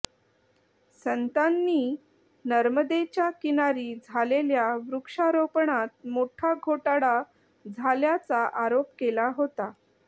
संतांनी नर्मदेच्या किनारी झालेल्या वृक्षारोपणात मोठा घोटाळा झाल्याचा आरोप केला होता